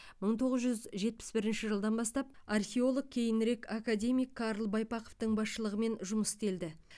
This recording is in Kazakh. мың тоғыз жүз жетпіс бірінші жылдан бастап археолог кейінірек академик карл байпақовтың басшылығымен жұмыс істелді